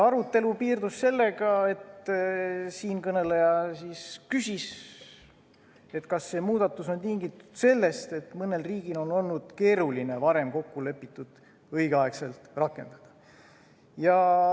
Arutelu piirdus sellega, et siinkõneleja küsis, kas see muudatus on tingitud sellest, et mõnel riigil on olnud keeruline varem kokkulepitut õigel ajal rakendada.